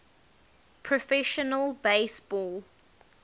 professional base ball